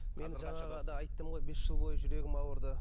мен жаңағыда айттым ғой бес жыл бойы жүрегім ауырды